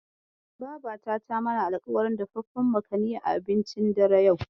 Babata ta mana alƙawarin dafaffen makani a abincin dare, yau.